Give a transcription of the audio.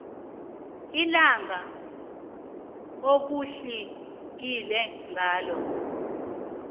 ilanga okutlikitlwe ngalo